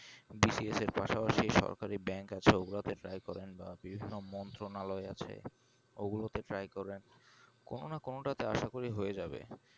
এখন BCS এর পাশাপাশি সরকারি bank আছে ও গুলোতে try করেন বা বিভিন্ন মন্ত্রালয় আছে ওগুলোতে try করেন কোনো না কোনোটাতে আশা করি হয়ে যাবে